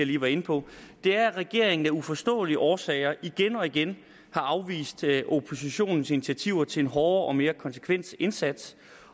lige var inde på er at regeringen af uforståelige årsager igen og igen har afvist oppositionens initiativer til en hårdere og mere konsekvent indsats